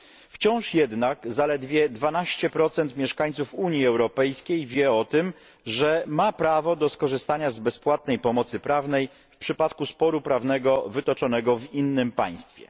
Wciąż jednak zaledwie 12 mieszkańców Unii Europejskiej wie o tym, że ma prawo do skorzystania z bezpłatnej pomocy prawnej w przypadku sporu prawnego wytoczonego w innym państwie.